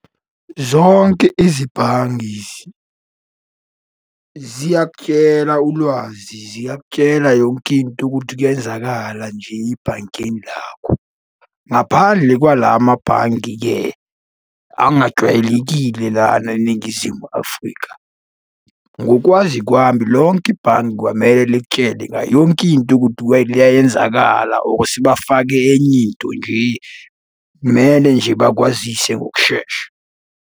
Zonke izibhangi ziyakutshela ulwazi, ziyakutshela yonke into ukuthi kuyenzakala nje ibhankeni lakho. Ngaphandle kwala mabhange-ke angajwayelekile lana eNingizimu Afrika, ngokwazi kwami lonke ibhange kwamele likutshele ngayo yonke into ukuthi iyayenzakala ukuthi bafake enye into nje mele nje bakwazise ngokushesha.